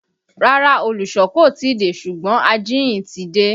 Rárá, olùsọ kò tí ì dé ṣùgbọ́n ajíhìn ti dé